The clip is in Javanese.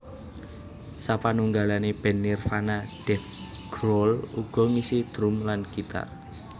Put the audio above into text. Sapanunggalane band Nirvana Dave Grohl uga ngisi drum lan gitar